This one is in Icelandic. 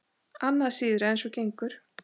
Annað síðra eins og gengur.